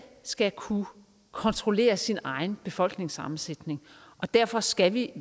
skal kunne kontrollere sin egen befolkningssammensætning og derfor skal vi